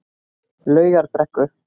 Laugarbrekku